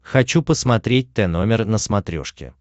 хочу посмотреть тномер на смотрешке